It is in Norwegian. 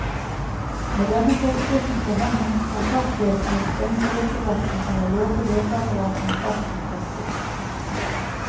Med denne forskriften for hånden, kan parkvesenet stenge lekeplassen eller låse lekeapparatene fast med kjetting.